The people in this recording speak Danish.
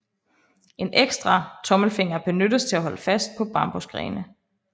En ekstra tommelfinger benyttes til at holde fast på bambusgrene